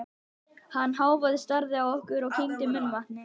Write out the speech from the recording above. Hann hváði, starði á okkur og kyngdi munnvatni.